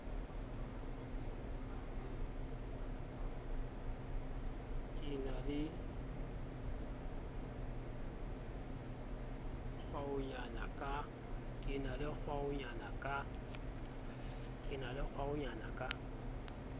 ke na le kgwaonyana ka